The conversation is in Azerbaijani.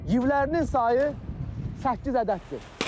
Yivlərinin sayı səkkiz ədəddir.